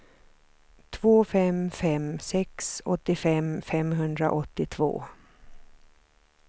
två fem fem sex åttiofem femhundraåttiotvå